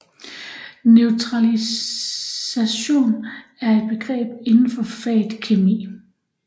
Neutralisation er et begreb inden for faget kemi